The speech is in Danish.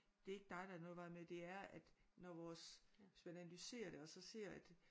Det er ikke dig der er noget i vejen med det er at når vores hvis man analyserer det og så ser at